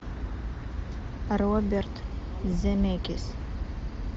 роберт земекис